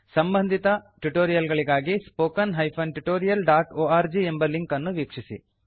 ಸಂಭದಿತ tutorial ಗಳಿಗಾಗಿ spoken hyphen tutorialಒರ್ಗ್ ಎಂಬ ಲಿಂಕ್ ಅನ್ನು ವೀಕ್ಷಿಸಿ